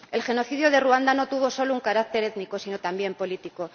El genocidio de Ruanda no tuvo solo un carácter étnico, sino también político.